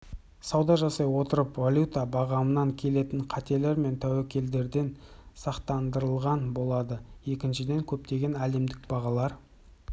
сауда жасай отырып валюта бағамынан келетін қатерлер мен тәуекелдерден сақтандырылған болады екіншіден көптеген әлемдік бағалар